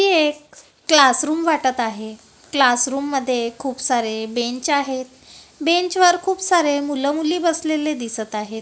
हे एक क्लासरूम वाटत आहे क्लासरूम मध्ये खूप सारे बेंच आहेत बेंचवर खूप सारे मुलं मुली बसलेले दिसत आहेत.